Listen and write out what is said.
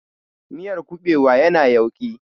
Miyar kuɓewa ya na yauƙi